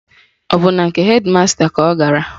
Ọ bụ na nke hedị masta ka ọ gara?